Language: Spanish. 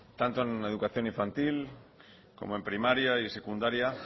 tanto en educación infantil como en primaria y en secundaria